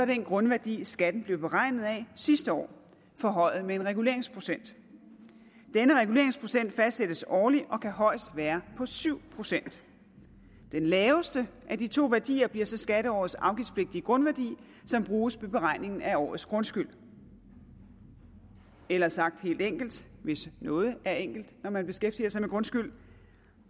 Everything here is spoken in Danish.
grundværdi skatten blev beregnet af sidste år forhøjet med en reguleringsprocent denne reguleringsprocent fastsættes årligt og kan højst være på syv procent den laveste af de to værdier bliver så skatteårets afgiftspligtige grundværdi som bruges ved beregning af årets grundskyld eller sagt helt enkelt hvis noget er enkelt når man beskæftiger sig med grundskyld